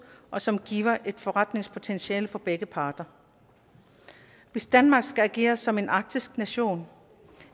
og som giver et forretningspotentiale for begge parter hvis danmark skal agere som en arktisk nation